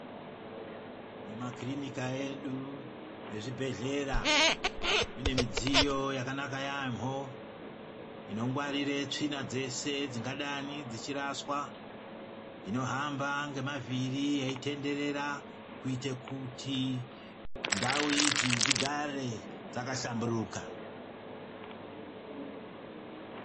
Mumakrinika edu nezvibhehlera munemudziyo yakanaka yaamho inogwarira tsvina dzese dzingadani dzichiraswa dzinohamba ngema vhiri dzichitenderera kuitira kuti ndau idzi dzigare dzakahlamburuka